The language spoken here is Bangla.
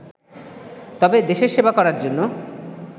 তবে দেশের সেবা করার জন্য